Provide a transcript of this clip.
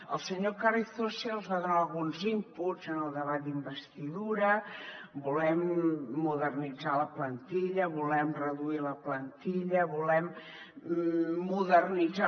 el senyor carrizosa ja els va donar alguns inputsel debat d’investidura volem modernitzar la plantilla volem reduir la plantilla volem modernitzar